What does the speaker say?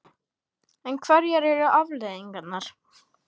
En hverjar eru afleiðingarnar?